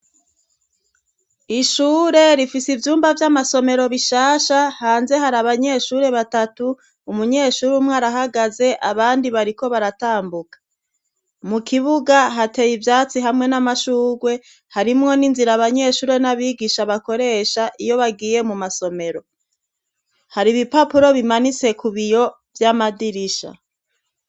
Ishure rifise ivyumba vy'amasomero bishasha hanze hari abanyeshuri batatu, umunyeshuri umwe arahagaze abandi bariko baratambuka, mu kibuga hateye ivyatsi hamwe n'amashugwe, harimwo n'inzira abanyeshuri n'abigisha bakoresha iyo bagiye mu masomero, hari ibipapuro bimanitse ku biyo vy'amadirisha.